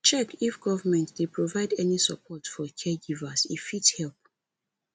check if government dey provide any support for caregivers e fit help